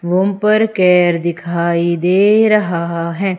Room पर केर दिखाई दे रहा है।